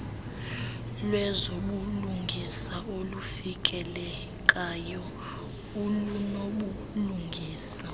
lwezobulungisa olufikelekayo olunobulungisa